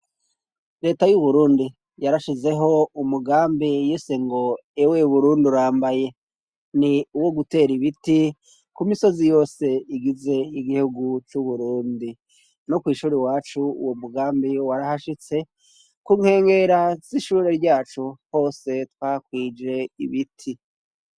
Reta y'uburundi yarashizeho umugambi yise ngo ewe Burundi urambaye ni uwo gutera ibiti ku misozi yose igize igihugu c'uburundi, no kwishuri iwacu uwo mugambi warahashitse ku nkengera zishure ryacu hose twahakwije ibiti.